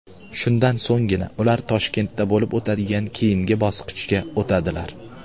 Shundan so‘nggina ular Toshkentda bo‘lib o‘tadigan keyingi bosqichga o‘tadilar.